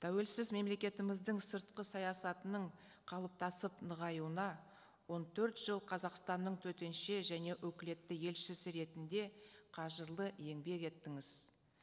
тәуелсіз мемлекетіміздің сыртқы саясатының қалыптасып нығаюына он төрт жыл қазақстанның төтенше және өкілетті елшісі ретінде қажырлы еңбек еттіңіз